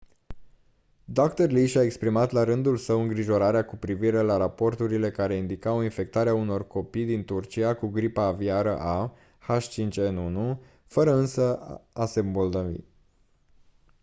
dr. lee și-a exprimat la rândul său îngrijorarea cu privire la raporturile care indicau infectarea unor copii din turcia cu gripa aviară a h5n1 fără însă a se îmbolnăvi